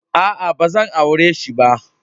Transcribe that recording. Aa, ba zan aure si ba.